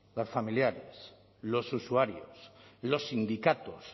los familiares los usuarios los sindicatos